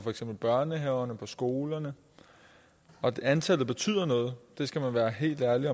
børnehaverne og skolerne og antallet betyder noget det skal man være helt ærlig